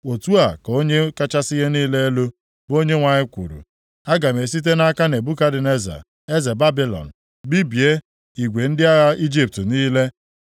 “ ‘Otu a ka Onye kachasị ihe niile elu, bụ Onyenwe anyị kwuru, “ ‘Aga m esite nʼaka Nebukadneza eze Babilọn bibie igwe ndị agha Ijipt niile.